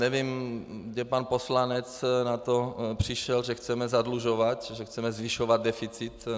Nevím, kde pan poslanec na to přišel, že chceme zadlužovat, že chceme zvyšovat deficit.